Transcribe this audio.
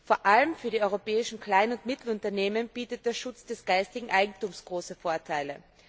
Vor allem für die europäischen kleinen und mittleren Unternehmen bietet der Schutz des geistigen Eigentums große Vorteile.